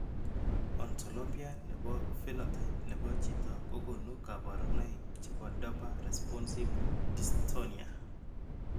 Ontolopia nebo phenotype nebo chito kogonu kabarunaik chebo Dopa responsive dystonia